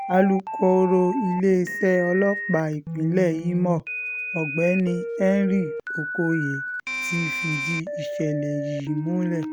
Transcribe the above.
alūkọ̀rọ̀ iléeṣẹ́ ọlọ́pàá ìpínlẹ̀ ìmọ̀ ọ̀gbẹ́ni henry okoye ti fìdí ìṣẹ̀lẹ̀ yìí múlẹ̀